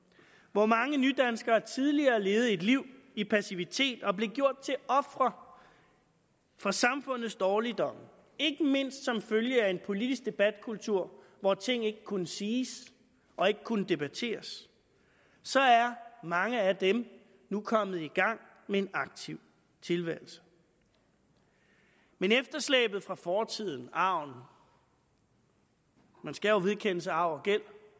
hvor mange nydanskere tidligere levede et liv i passivitet og blev gjort til ofre for samfundets dårligdomme ikke mindst som følge af en politisk debatkultur hvor ting ikke kunne siges og ikke kunne debatteres så er mange af dem nu kommet i gang med en aktiv tilværelse men efterslæbet fra fortiden arven man skal jo vedkende sig arv